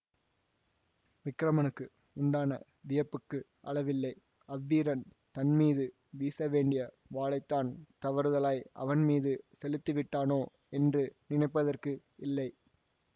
விக்கிரமனுக்கு உண்டான வியப்புக்கு அளவில்லை அவ்வீரன் தன்மீது வீசவேண்டிய வாளைத்தான் தவறுதலாய் அவன்மீது செலுத்திவிட்டானோ என்று நினைப்பதற்கு இல்லை